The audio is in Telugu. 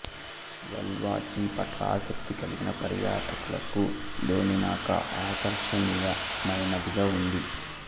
వేల్ వాచింగ్ పట్ల ఆసక్తి కలిగిన పర్యాటకులకు డోమినికా ఆకర్షణీయమైనదిగా ఉంది